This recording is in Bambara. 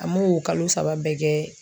An m'o kalo saba bɛɛ kɛ